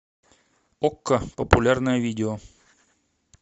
окко популярное видео